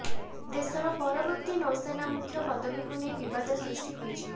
ଦେଶର ପରବର୍ତ୍ତି ନୌସେନା ମୁଖ୍ୟ ପଦବୀକୁ ନେଇ ବିବାଦ ସୃଷ୍ଟି ହୋଇଛି